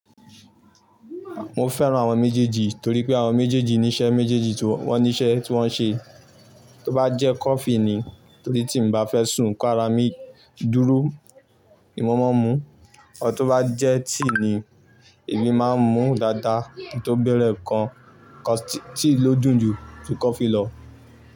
Mo fẹ́ran àwọn méjèèjì torí pé àwọn méjèèjì ní iṣẹ́ méjèèjì tí wọ́n ní iṣẹ́ tí wọ́n ń ṣe. Tó bá jẹ́ coffee ni torí tí mo bá fẹ́ sùn ká ra mi dúrú, nìmo máa ń mu. Tó bá jẹ́ tea ni èmi máa ń mu dáadáa torí bẹ́rẹ́ ẹ̀ kan, tea ló dùn ju coffee lọ.